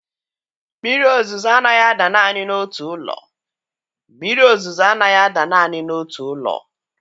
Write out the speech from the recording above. Mmiri ozuzo anaghị ada naanị n'otu ụlọ. Mmiri ozuzo anaghị ada naanị n'otu ụlọ.